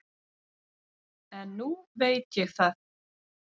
En nú veit ég það.